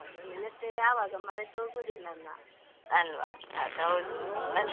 ಅಲ್ವಾ ಅದ್ ಹೌದು ಮತ್ತೇ ಎಂತ ಮಾಡುದು ನೀವ್ ಈಗ?